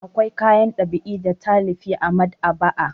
Akwai kayan ɗab'i da talifi a maɗ'aba'a.